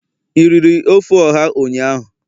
i riri ofe oha ụnyahụ?